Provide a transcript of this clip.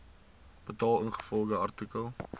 betaal ingevolge artikel